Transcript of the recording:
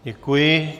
Děkuji.